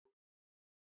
Það er bara ekki satt.